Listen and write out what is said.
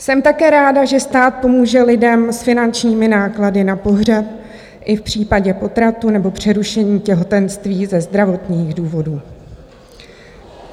Jsem také ráda, že stát pomůže lidem s finančními náklady na pohřeb i v případě potratu nebo přerušení těhotenství ze zdravotních důvodů.